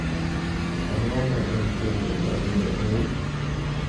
Ang'o ma en chenro mar Miyo May?